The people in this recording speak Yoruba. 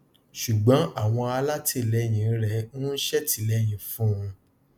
ṣùgbọn àwọn alátìlẹyìn rẹ ń ṣètìléyìn fúnun